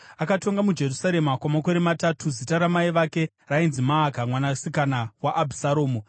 Akatonga muJerusarema kwamakore matatu. Zita ramai vake rainzi Maaka mwanasikana waAbhisharomu.